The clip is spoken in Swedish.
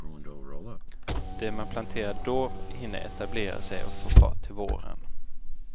Det man planterar då hinner etablera sig och få fart till våren.